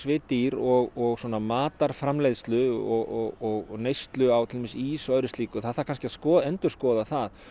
við dýr og svona matarframleiðslu og neyslu á ís og öðru slíku það þarf kannski að endurskoða það